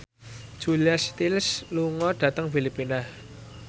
Julia Stiles lunga dhateng Filipina